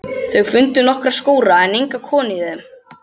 Þau fundu nokkra skúra en enga konu í þeim.